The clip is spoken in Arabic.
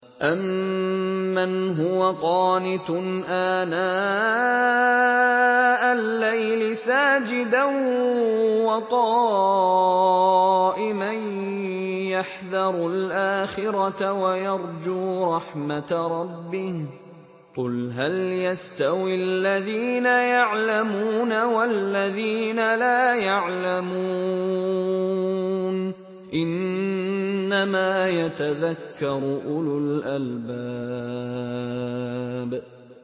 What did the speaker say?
أَمَّنْ هُوَ قَانِتٌ آنَاءَ اللَّيْلِ سَاجِدًا وَقَائِمًا يَحْذَرُ الْآخِرَةَ وَيَرْجُو رَحْمَةَ رَبِّهِ ۗ قُلْ هَلْ يَسْتَوِي الَّذِينَ يَعْلَمُونَ وَالَّذِينَ لَا يَعْلَمُونَ ۗ إِنَّمَا يَتَذَكَّرُ أُولُو الْأَلْبَابِ